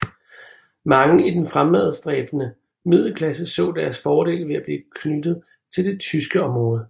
Mange i den fremadstræbende middelklasse så deres fordel ved at blive knyttet til det tyske område